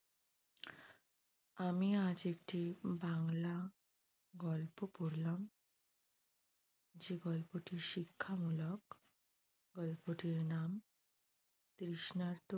আমি আজ একটি বাংলা গলাপ পড়লাম যে গল্পটি শিক্ষামূলক গল্পটির নাম তৃষ্ণার্ত